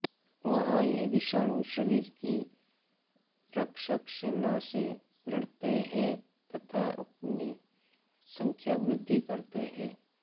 वहाँ ये विषाणु शरीर की रक्षक सेना से लड़ते हैं तथा अपनी संख्यावृद्धि करते हैं